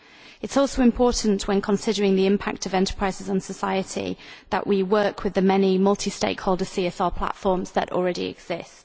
It is also important, when considering the impact of enterprises on society, that we work with the many multi stakeholder CSR platforms that already exist.